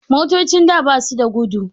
Motocin da basu da gudu